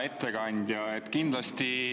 Hea ettekandja!